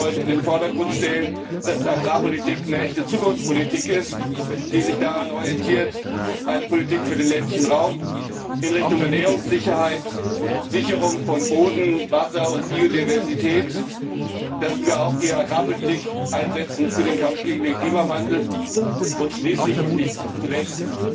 stattdessen wollen wir in den Vordergrund stellen, dass Agrarpolitik eine echte Zukunftspolitik ist, die sich daran orientiert, eine Politik für den ländlichen Raum in Richtung Ernährungssicherheit, Sicherung von Boden, Wasser und Biodiversität zu sein, dass wir die Agrarpolitik auch für den Kampf gegen den Klimawandel einsetzen und schließlich und nicht zuletzt